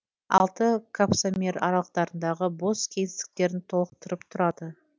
алты капсомер аралықтарындағы бос кеңістіктерін толықтырып тұрады